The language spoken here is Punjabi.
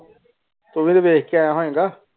ਤੁਵੀ ਤੇ ਵੈਖ ਕੇ ਆਯਾ ਹੋਏ ਗਏ.